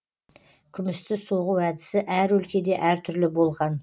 күмісті соғу әдісі әр өлкеде әр түрлі болған